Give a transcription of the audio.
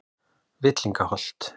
Villingaholti